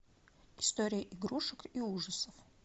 история игрушек и ужасов